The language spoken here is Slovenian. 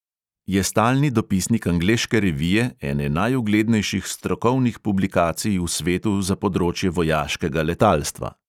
Je stalni dopisnik angleške revije, ene najuglednejših strokovnih publikacij v svetu za področje vojaškega letalstva.